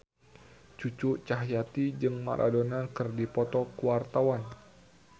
Cucu Cahyati jeung Maradona keur dipoto ku wartawan